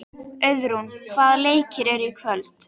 Auðrún, hvaða leikir eru í kvöld?